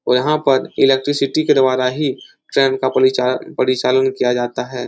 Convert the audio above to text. यहाँ पर इलेक्ट्रीसिटी के द्वारा ही ट्रेन का परिचा परिचालन किया जाता हैं।